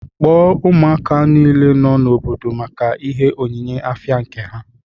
Kpọọ ụmụaka nile nọ n'obodo maka ihe onyinye afia nke ha